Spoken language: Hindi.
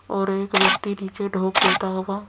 और एक व्यक्ति नीचे ढोक देता होगा।